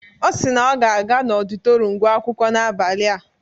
Ọ si na ọ ga-aga n'ọditorịum gụọ akwụkwọ n'abalị a.